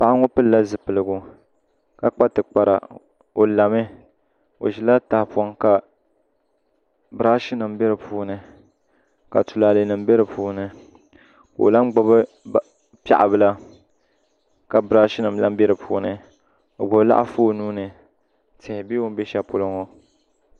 Paɣa ŋo pilila zipiligu ka kpa tikpara o lami o ʒila tahapoŋ ka birash nim bɛ di puuni ka tulaalɛ nim bɛ di puuni ka o lahi gbuni piɛɣu bila ka birash nim bɛ di puuni o gbubi laɣafu o nuuni tihi bɛ o ni bɛ shɛli polo ŋo